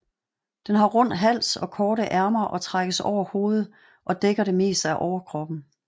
Den har rund hals og korte ærmer og trækkes over hovedet og dækker det meste af overkroppen